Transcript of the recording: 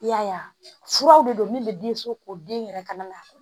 I y'a ye furaw de don min bɛ den so ko den yɛrɛ ka na